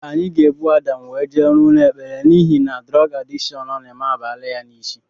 Anyị ga-ebu Adam wee jee ụlọ ekpere n'ihi na durog adịshon ọ na-eme abalaa ya isi